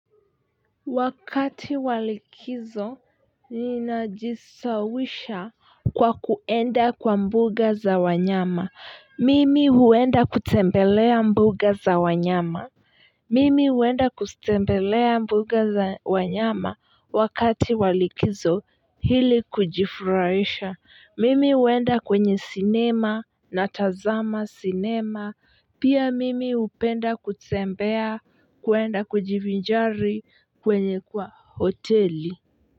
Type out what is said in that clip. Wakati wa likizo ninajisawisha kwa kuenda kwa mbuga za wanyama, mimi huenda kutembelea mbuga za wanyama, mimi huenda kutembelea mbuga za wanyama wakati walikizo hili kujifuraisha, mimi huenda kwenye sinema na tazama sinema, pia mimi upenda kutembea kuenda kujivinjari kwa hoteli.